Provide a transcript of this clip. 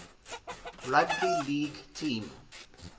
rugby league team